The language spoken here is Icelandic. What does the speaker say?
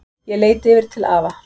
Ég leit yfir til afa.